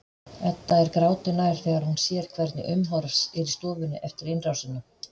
Edda er gráti nær þegar hún sér hvernig umhorfs er í stofunni eftir innrásina.